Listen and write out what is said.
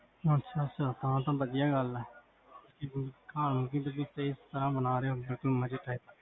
ਅਛਾ ਅਛਾ ਹਾਂ ਆਹ ਤਾ ਵਦੀਆਂ ਗਲ ਆ ਕੀ ਤੁਸੀਂ ਇਸ ਤਰਹ ਬਣਾ ਰੇ ਹੋ